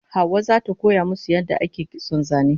Hauwa zata koya musu yadda ake kitson zane